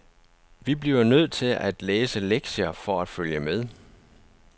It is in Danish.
Vi bliver nødt til at læse lektier for at følge med.